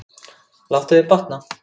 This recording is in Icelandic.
Láttu þér batna.